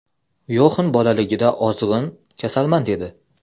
Yoxan bolaligida ozg‘in, kasalmand edi.